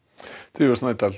drífa Snædal